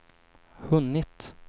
hunnit